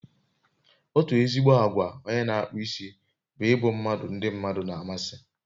Otu ezigbo àgwà onye n'akpụ isi bụ ịbụ mmadụ ndi mmadụ na amasị